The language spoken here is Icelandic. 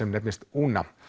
Una